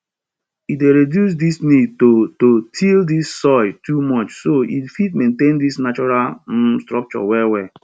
e dey reduce di need to to till di soil too much so e fit maintain di natural um structure well well